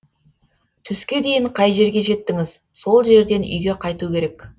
түске дейін қай жерге жеттіңіз сол жерден үйге қайту керек